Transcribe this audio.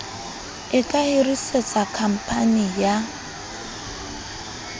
e ka hirisetsa khamphani ya